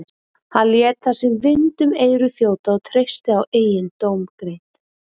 Hann lét það sem vind um eyru þjóta og treysti á eigin dómgreind.